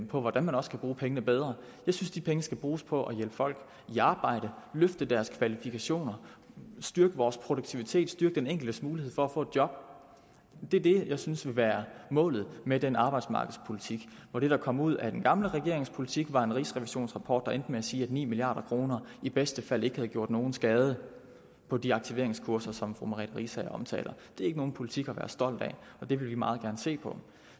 på hvordan man også kan bruge pengene bedre jeg synes de penge skal bruges på at hjælpe folk i arbejde løfte deres kvalifikationer styrke vores produktivitet og styrke den enkeltes mulighed for at få et job det er det jeg synes skal være målet med den arbejdsmarkedspolitik hvor det der kom ud af den gamle regerings politik var en rigsrevisionsrapport der endte med at sige at ni milliard kroner i bedste fald ikke havde gjort nogen skade på de aktiveringskurser som fru merete riisager omtaler det er ikke nogen politik af være stolt af og det vil vi meget gerne se på